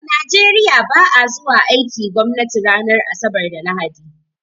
A Nigeriya ba a zuwa aikin gwamnati ranar asabar da lahadi.